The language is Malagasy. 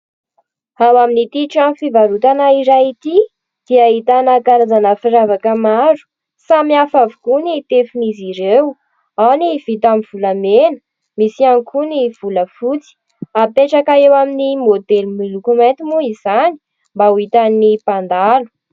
Ao amin'ity trano fivarotana iray ity dia ahitana karazana firavaka maro, samihafa avokoa ny tefin'izy ireo ao ny vita amin'ny volamena, misy ihany koa ny volafotsy hapetraka eo amin'ny modely miloko mainty moa izany mba ho hitan'ny mpandalo.